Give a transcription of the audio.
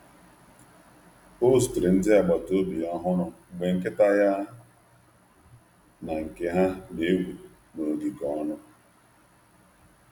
Ọ zutere ndị agbata obi ọhụrụ mgbe nkịta ya na nke ha na-egwu n’ogige ọnụ.